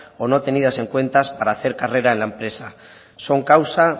o no tenidas en cuenta para hacer carrera en la empresa son causa